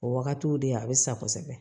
O wagatiw de a bɛ sa kosɛbɛ